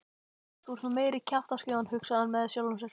Þú ert nú meiri kjaftaskjóðan hugsaði hann með sjálfum sér.